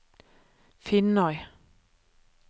Finnøy